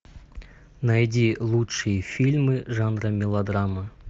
найди лучшие фильмы жанра мелодрама